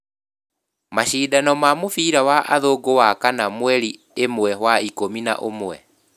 Macindano ma mũbira wa Athungu wakana mweri imwe wa Ikumi na ummwe